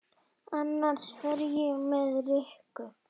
Annars fer ég með Rikku